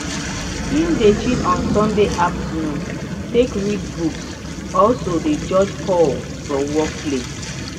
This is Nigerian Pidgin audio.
him dey chill on sunday afternoon take read books also dey jorge call from work place.